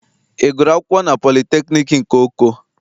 Ị gụrụ akwụkwọ na politekniik nke Oko?